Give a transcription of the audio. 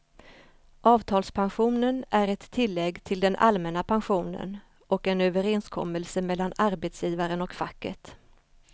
Avtalspensionen är ett tillägg till den allmänna pensionen och en överenskommelse mellan arbetsgivaren och facket.